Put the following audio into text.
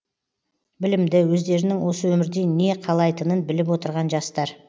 білімді өздерінің осы өмірден не қалайтынын біліп отырған жастар